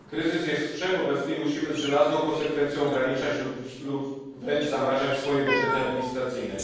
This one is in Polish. r. Kryzys jest wszechobecny i musimy z żelazną konsekwencją ograniczać lub wręcz zamrażać budżety administracyjne.